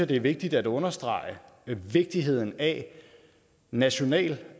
det er vigtigt at understrege vigtigheden af national